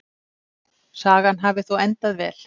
Sagan hafi þó endað vel.